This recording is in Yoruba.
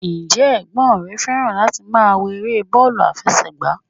Ǹ jẹ́ ẹ̀gbọ́n rè fẹ́ràn láti máa wo eré bọ́ọ̀lù àfẹsẹ̀gbá?